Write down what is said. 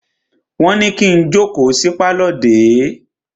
Wọ́n ní kí n jókòó sí pálọ̀ dè é!